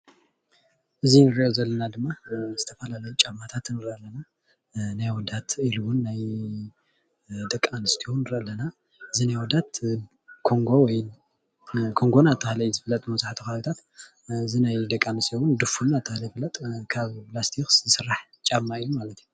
እዚ እንሪኦ ዘለና ድማ ዝተፈላለዩ ጫማታት ንሪኢ ኣለና፡፡ ናይ ኣወዳት ኢሉ እውን ናይ ደቂ ኣንስትዮ ንርኢ ኣለና፣ እዚ ናይ ኣወዳት ኮንጎ ወይ እናተባሃለ ይፍለጥ መብዛሕትኡ ከባቢታት እዚ ናይ ደቂ ኣንስትዮ እውን ድፉን እናተባሃለ ይፍለጥ፣ ካብ ላስቲክ ዝስራሕ ጫማ እዩ ማለት እዩ፡፡